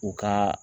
U ka